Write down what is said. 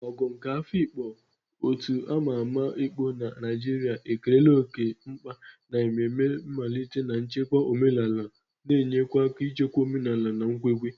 Ogo nke Afikpo, otu a ma ama ekpo na Naijiria, ekerela oke mkpa na mmemme mmalite na ichekwa omenala, na-enye aka n'ichekwa omenala na nkwenkwe.